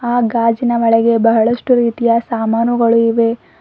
ಆ ಗಾಜಿನ ಒಳಗೆ ಬಹಳಷ್ಟು ರೀತಿಯ ಸಾಮಾನುಗಳು ಇವೆ.